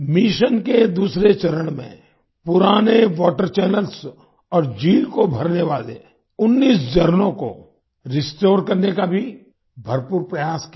mission के दूसरे चरण में पुराने वाटर चैनल्स और झील को भरने वाले 19 झरनों को रिस्टोर करने का भी भरपूर प्रयास किया गया